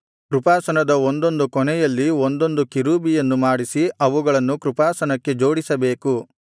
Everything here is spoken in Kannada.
ಕೃಪಾಸನದ ಒಂದೊಂದು ಕೊನೆಯಲ್ಲಿ ಒಂದೊಂದು ಕೆರೂಬಿಯನ್ನು ಮಾಡಿಸಿ ಅವುಗಳನ್ನು ಕೃಪಾಸನಕ್ಕೆ ಜೋಡಿಸಬೇಕು